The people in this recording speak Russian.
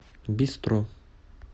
бистро